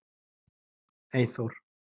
Eyþór